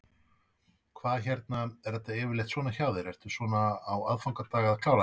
Hvað hérna, er þetta yfirleitt svona hjá þér, ertu svona á aðfangadag að klára þetta?